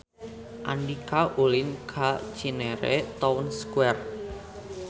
Andika ulin ka Cinere Town Square